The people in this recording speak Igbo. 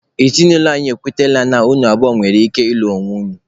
Ezinụlọ anyị ekwetala na unu abụọ nwere ike ịlụ onwe unu.